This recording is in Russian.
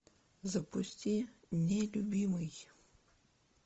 запусти нелюбимый